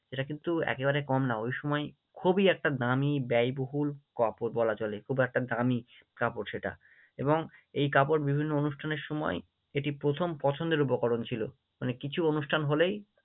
এটা কিন্তু একেবারে কম না, ওই সময় খুবই একটা দামী ব্যয়বহুল কাপড় বলা চলে, খুব একটা দামী কাপড় সেটা এবং এই কাপড় বিভিন্ন অনুষ্ঠানের সময় এটি প্রথম পছন্দের উপকরণ ছিল, মানে কিছু অনুষ্ঠান হলেই